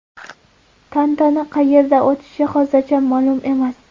Tantana qayerda o‘tishi hozircha ma’lum emas.